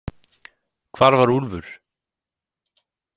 Hvar var Úlfur?